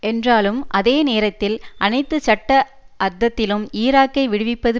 என்றாலும் அதே நேரத்தில் அனைத்து சட்ட அர்தத்திலும் ஈராக்கை விடுவிப்பது